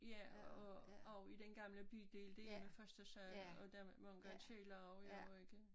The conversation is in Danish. Ja og og i den gamle bydel det jo første sal og der var engang kælder også jo ikke